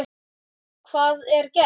Hvað er gert?